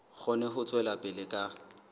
kgone ho tswela pele ka